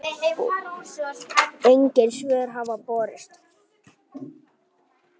Engin svör hafa borist.